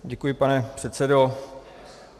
Děkuji, pane předsedo.